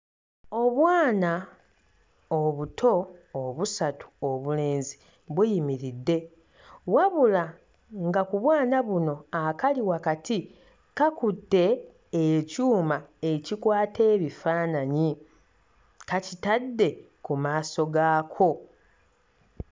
Obwana obuto obusatu obulenzi buyimiriddde. Wabula, nga ku bwana buno akakali wakati kakutte ekyuma ekikwata ebifaananyi kakitadde ku maaso gaako.